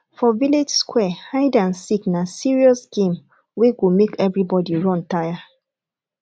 for village square hide and seek na serious game wey go make everybody run tire